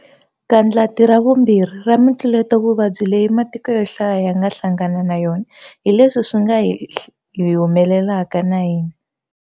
'Gandlati ra vumbirhi'ra mitluletovuvabyi leyi matiko yo hlaya ya nga hlangana na yona hi leswi swi nga hi humelelaka na hina.